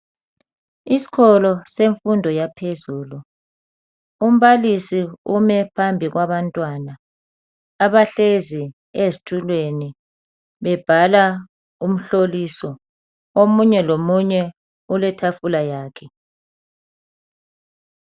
isikolo semfundo yaphezulu umbalisi ume phambi kwabantwana abahlezi ezitulweni bebhala umhloliso omunye lomunye uletafula yakhe